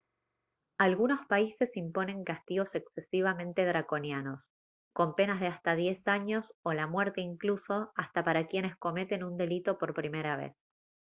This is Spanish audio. algunos países imponen castigos excesivamente draconianos con penas de hasta 10 años o la muerte incluso hasta para quienes cometan un delito por primera vez